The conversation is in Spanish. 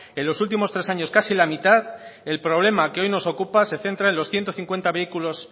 en los últimos tres años casi la mitad el problema que hoy nos ocupa se centra en los ciento cincuenta vehículo